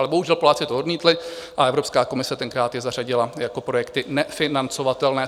Ale bohužel Poláci to odmítli a Evropská komise tenkrát je zařadila jako projekty nefinancovatelné.